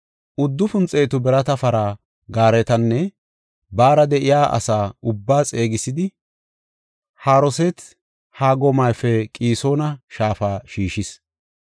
uddufun xeetu birata para gaaretanne baara de7iya asa ubbaa xeegisidi, Haroseet-Hagoymape Qisoona shaafa shiishis.